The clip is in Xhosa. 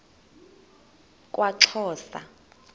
kwaxhosa